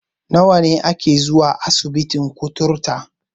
Nawa a ke zuwa asibitin kutare?